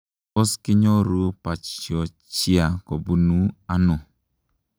Tos kinyoruu pachyonychia kobunuu anoo?